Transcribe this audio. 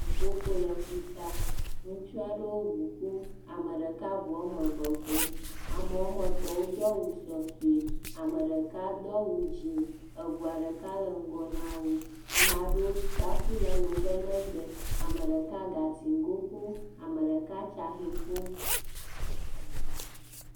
Ʋuƒoƒo le ƒuta ŋutsuaɖewo ʋu ƒom, ame ɖeka ʋuameve ƒom , amewoametɔ̃ wodo awu sɔsɔe, ameɖeka do awu dzĩ, eʋuaɖeka le ŋgɔ nawo amaɖewo tsa ƒu le le wo be megbe, ameɖeka gatsi goŋ ƒom, ameɖeka tsaxe ƒom